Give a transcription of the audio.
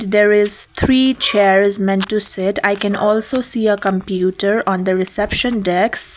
there is three chairs meant to sit i can also see a computer on the reception desk.